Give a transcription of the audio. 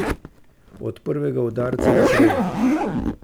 Od prvega udarca naprej.